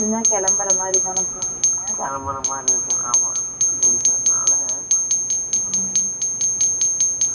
கிளம்புற மாதிரி இருந்துச்சு. ஆமா. சரி sir . அதனால, ம்போயிட்டு, இங்க வந்தாச்சும்மா.